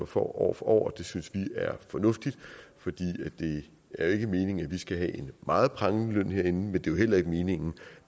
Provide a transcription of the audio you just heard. for år år det synes vi er fornuftigt for det er jo ikke meningen at vi skal have en meget prangende løn herinde men det er jo heller ikke meningen